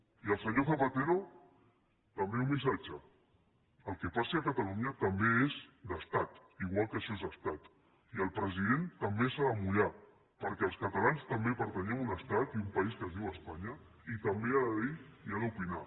i al senyor zapatero també un missatge el que passi a catalunya també és d’estat igual que això és estat i el president també s’ha de mullar perquè els catalans també pertanyem a un estat i a un país que es diu espanya i també ha de dir i ha d’opinar